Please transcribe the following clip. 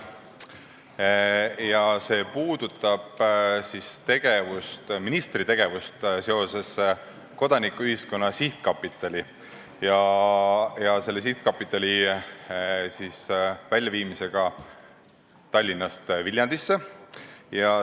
Arupärimine puudutab ministri tegevust seoses Kodanikuühiskonna Sihtkapitali ja selle üleviimisega Tallinnast Viljandisse.